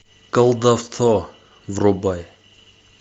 колдовство врубай